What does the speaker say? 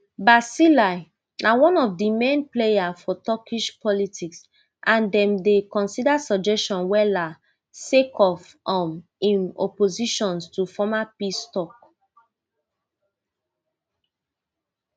bahceli na one of di main player for turkish politics and dem dey consider suggestion wella sake of um im opposition to former peace tok